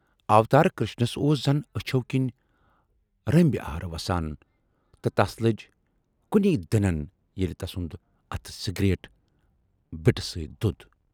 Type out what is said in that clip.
اوتار کرشنس اوس زَن ٲچھو کِنۍ رٔمبۍ آر وسان تہٕ تَس لٔج کُنی دٕنَن ییلہِ تسُند اَتھٕ سیٖگریٹ بِٹہِ سۭتۍ دود۔